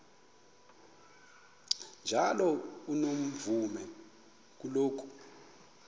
njalo unomvume kuloko